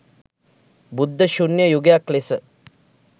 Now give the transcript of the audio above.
බුද්ධ ශුන්‍ය යුගයක් ලෙස